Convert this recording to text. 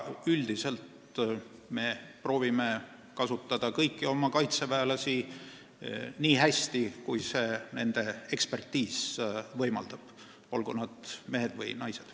Üldiselt me proovime kasutada kõiki oma kaitseväelasi nii hästi, kui nende väljaõpe võimaldab, olgu nad mehed või naised.